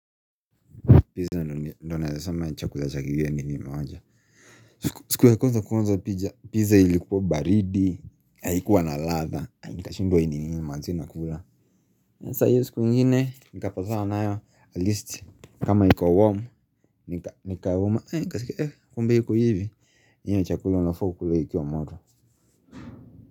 Pizza ndio naeza sema ni chakula cha kigeni enye nimeonja siku ya kwanza kuonja pija Pizza ilikuwa baridi Haikuwa na ladha nikashindwa hii ni nini manze nakula sasa iyo siku ingine Nikapatana nayo at least kama iko warm Nikauma kumbe hiko hivi enyewe ni chakula unafaa ukule ikiwa moto.